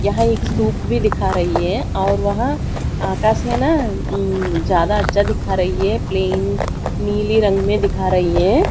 यहां एक सूप भी दिखा रही है और वहां आकाश है ना ज्यादा अच्छा दिखा रही है प्लेन नीली रंग में दिखा रही है।